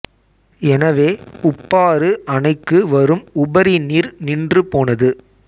எனவே உப்பாறு அணைக்கு வரும் உபரி நீர் நின்று போனது